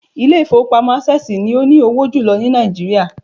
Ilé ìfowópamọ́ Access ni ó ní owó jùlọ ní Nàìjíríà